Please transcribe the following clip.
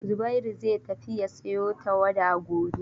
Zubairu zai tafi ya sayo tawada gobe.